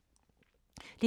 DR2